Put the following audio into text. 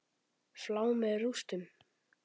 Flá með rústum.